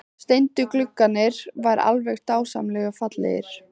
Steindu gluggarnir eru alveg dásamlega fallegir!